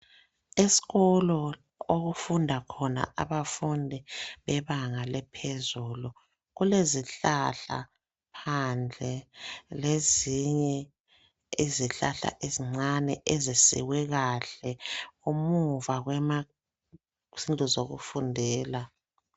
Esikolo okufunda khona abafundi bebanga lephezulu kule zihlahla phandle lezinye izihlahla ezincane ezisikwe kahle emuva kwema zindlu zokufundela.